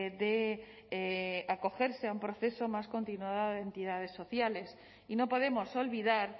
de acogerse a un proceso más continuado de entidades sociales y no podemos olvidar